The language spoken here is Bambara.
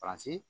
Paransi